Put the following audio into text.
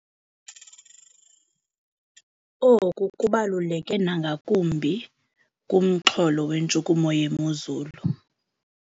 Oku kubaluleke nangakumbi kumxholo wentshukumo yemozulu.